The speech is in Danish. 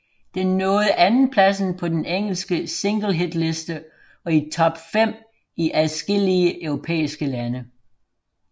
Den nåede andenpladsen på den engelske singlehitliste og i top fem i adskillige europæiske lande